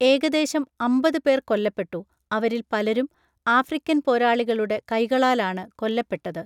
ഏകദേശം അമ്പത് പേർ കൊല്ലപ്പെട്ടു, അവരിൽ പലരും ആഫ്രിക്കൻ പോരാളികളുടെ കൈകളാലാണ് കൊല്ലപ്പെട്ടത്.